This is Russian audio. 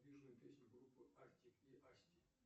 песню группы артик и асти